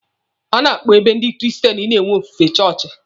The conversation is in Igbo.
A na-akpọ ebe ndị kristen na-enwe ofufe chọọchị.